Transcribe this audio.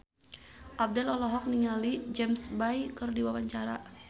Abdel olohok ningali James Bay keur diwawancara